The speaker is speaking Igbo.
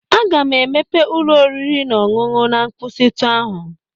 Aga m emepe ụlọ oriri na ọṅụṅụ na nkwụsịtụ ahụ